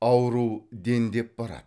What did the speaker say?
ауру дендеп барады